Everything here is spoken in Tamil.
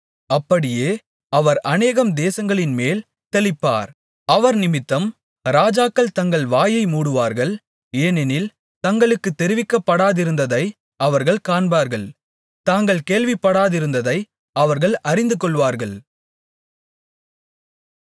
அப்படியே அவர் அநேகம் தேசங்களின்மேல் தெளிப்பார் அவர் நிமித்தம் ராஜாக்கள் தங்கள் வாயை மூடுவார்கள் ஏனெனில் தங்களுக்குத் தெரிவிக்கப்படாதிருந்ததை அவர்கள் காண்பார்கள் தாங்கள் கேள்விப்படாதிருந்ததை அவர்கள் அறிந்துகொள்வார்கள்